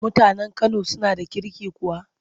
Mutanen Kano suna da kirki kuwa?